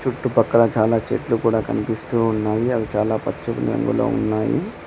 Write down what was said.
చుట్టు పక్కలా చాలా చెట్లు కూడా కనిపిస్తూ ఉన్నాయి అవి చాలా పచ్చని రంగులో ఉన్నాయి.